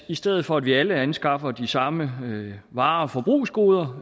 i stedet for at vi alle anskaffer de samme varer og forbrugsgoder